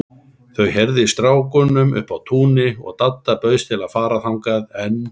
Þau heyrðu í strákunum uppi á túni og Dadda bauðst til að fara þangað, en